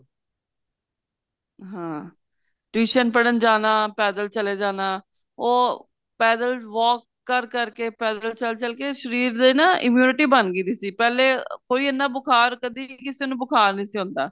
ਹਾਂ tuition ਪੜਣ ਜਾਣਾ ਪੈਦਲ ਚੱਲੇ ਜਾਣਾ ਉਹ ਪੈਦਲ walk ਕਰ ਕਰ ਕੇ ਪੈਦਲ ਚੱਲ ਚੱਲ ਕੇ ਸ਼ਰੀਰ ਦੀ ਨਾ immunity ਬਣ ਗੀ ਸੀ ਪਹਿਲੇ ਕੋਈ ਇੰਨਾ ਬੁਖਾਰ ਕਿਸੇ ਨੂੰ ਬੁਖਾਰ ਨਹੀਂ ਸੀ ਹੁੰਦਾ